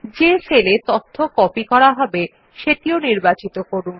যে সেলে তথ্য কপি করা হবে সেটিও নির্বাচিন করুন